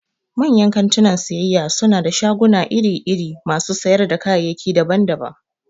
Manyan kantunan siyayya suna da shaguna iri-iri masu sayar da kayayyaki daban-daban.